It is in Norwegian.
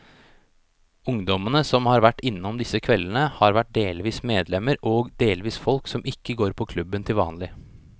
Ungdommene som har vært innom disse kveldene, har vært delvis medlemmer og delvis folk som ikke går på klubben til vanlig.